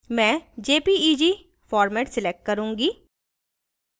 मैं jpeg format select करूँगी